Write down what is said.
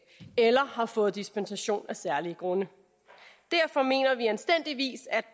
eller har fået dispensation af særlige grunde derfor mener vi anstændigvis at